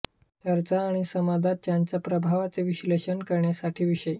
चर्चा आणि समाजात त्याच्या प्रभावाचे विश्लेषण करण्यासाठी विषय